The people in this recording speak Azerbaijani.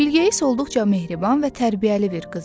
Bilqeyis olduqca mehriban və tərbiyəli bir qız idi.